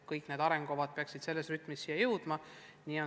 Kõik need arengukavad peaksid selles rütmis siia jõudma.